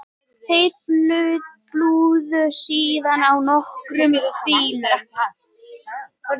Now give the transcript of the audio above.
Þeir flúðu síðan á nokkrum bílum